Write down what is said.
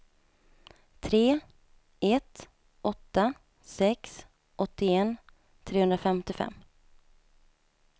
tre ett åtta sex åttioett trehundrafemtiofem